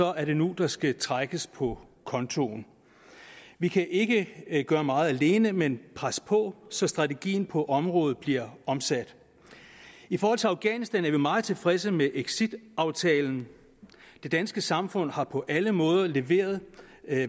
er det nu der skal trækkes på kontoen vi kan ikke gøre meget alene men presse på så strategien på området bliver omsat i forhold til afghanistan er vi meget tilfredse med exitaftalen det danske samfund har på alle måder leveret